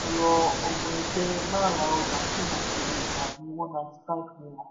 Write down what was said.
a rọ ọmọ ẹgbẹ́ má ra ọjà tí wọn kò lè tà ní one ninety five naira